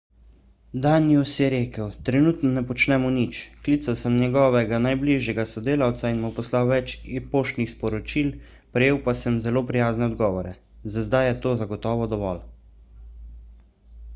danius je rekel trenutno ne počnemo nič klical sem njegovega najbližjega sodelavca in mu poslal več e-poštnih sporočil prejel pa sem zelo prijazne odgovore za zdaj je to zagotovo dovolj